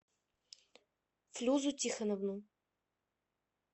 флюзу тихоновну